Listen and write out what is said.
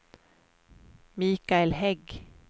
Michael Hägg